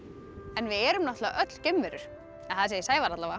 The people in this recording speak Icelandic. við erum náttúrlega öll geimverur það segir Sævar